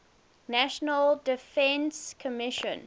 national defense commission